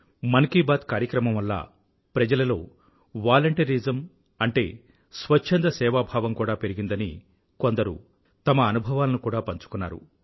మన్ కీ బాత్ కార్యక్రమం వల్ల ప్రజలలో వాలంటీరిజం అంటే స్వచ్ఛంద సేవా భావం కూడా పెరిగిందని కొందరు తమ అనుభవాలను కూడా పంచుకున్నారు